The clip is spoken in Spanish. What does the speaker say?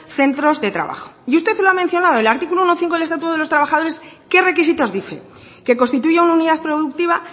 centros de trabajo y usted lo ha mencionado el artículo uno punto cinco del estatuto de los trabajadores qué requisitos dice que constituya una unidad productiva